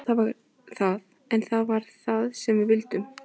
Já það var það, en það var það sem við vildum.